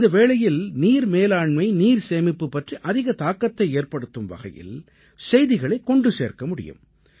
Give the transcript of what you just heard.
இந்த வேளையில் நீர் மேலாண்மை நீர் சேமிப்பு பற்றி அதிக தாக்கத்தை ஏற்படுத்தும் வகையில் செய்திகளை கொண்டு சேர்க்க முடியும்